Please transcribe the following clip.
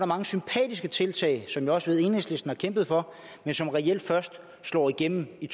mange sympatiske tiltag som jeg også ved enhedslisten har kæmpet for men som reelt først slår igennem i